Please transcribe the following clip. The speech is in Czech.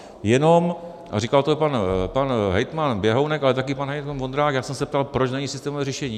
Jenom, a říkal to pan hejtman Běhounek, ale také pan hejtman Vondrák, jak jsem se ptal, proč není systémové řešení.